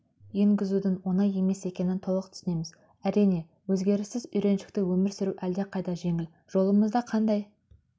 енгізудің оңай емес екенін толық түсінеміз әрине өзгеріссіз үйреншікті өмір сүру әлдеқайда жеңіл жолымызда қандай